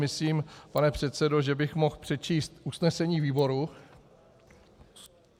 Myslím, pane předsedo, že bych mohl přečíst usnesení výboru...